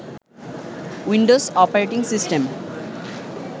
Windows operating system